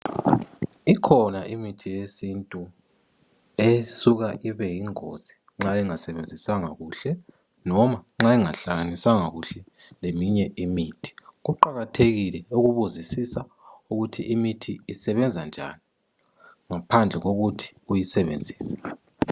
Ikhona imithi yesintu esuka ibe yingozi nxa ingasebenziswanga kuhle noma nxa engahlaliswanga kuhle leminye imithi kuqakathekile ukubuzisisa ukuthi imithi isebenza njani ngaphandle kokuthi uyasebenzise.